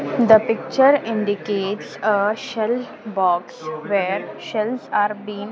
the picture indicates uh shelf box where shells are been --